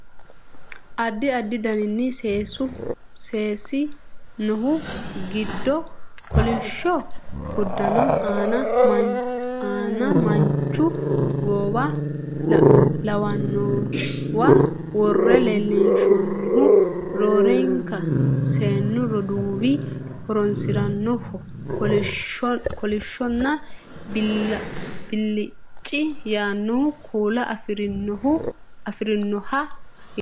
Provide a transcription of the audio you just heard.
Addi addi dani seesi noohu giddo kolishsho uddano aana manchu goowa lawannowa worre leellinshoonnihu roorenka seennu roduuwi horonsirannoho kolishshonna bilicci yaanno kuula afirinoho yaate